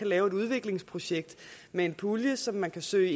lave et udviklingsprojekt med en pulje som man kan søge